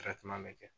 bɛ kɛ